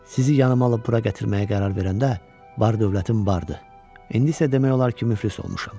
Sizi yanıma alıb bura gətirməyə qərar verəndə bar-dövlətin bərdi, indi isə demək olar ki, müflis olmuşam.